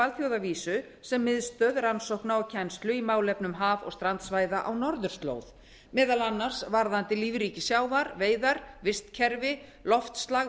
alþjóðavísu sem miðstöð rannsókna og kennslu í málefnum haf og strandsvæða á norðurslóð meðal annars varðandi lífríki sjávar veiðar vistkerfi loftslag